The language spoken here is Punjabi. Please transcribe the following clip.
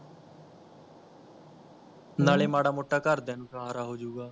ਨਾਲੇ ਮਾੜਾ ਮੋਟਾ ਘਰਦਿਆਂ ਨੂੰ ਸਹਾਰਾ ਹੋ ਜਾਊਗਾ